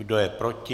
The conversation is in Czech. Kdo je proti?